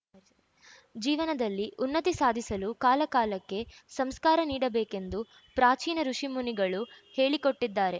ಜೀವನದಲ್ಲಿ ಉನ್ನತಿ ಸಾಧಿಸಲು ಕಾಲಕಾಲಕ್ಕೆ ಸಂಸ್ಕಾರ ನೀಡಬೇಕೆಂದು ಪ್ರಾಚೀನ ಋುಷಿಮುನಿಗಳು ಹೇಳಿಕೊಟ್ಟಿದ್ದಾರೆ